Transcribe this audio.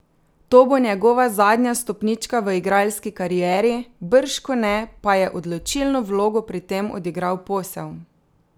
To bo njegova zadnja stopnička v igralski karieri, bržkone pa je odločilno vlogo pri tem odigral posel.